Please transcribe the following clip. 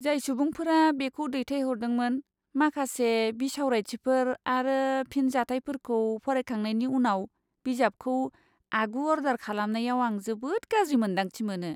जाय सुबुंफोरा बेखौ दैथायहरदोंमोन माखासे बिसावरायथिफोर आरो फिनजाथायफोरखौ फरायखांनायनि उनाव बिजाबखौ आगु अर्डार खालामनायाव आं जोबोद गाज्रि मोन्दांथि मोनो।